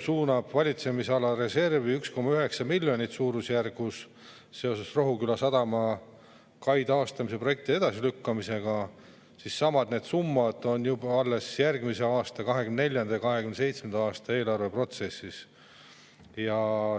suunab valitsemisala reservi suurusjärgus 1,9 miljonit eurot seoses Rohuküla sadama kai taastamise projekti edasilükkamisega, siis samad summad on juba järgmise aasta 2024.–2027. aasta eelarve protsessis.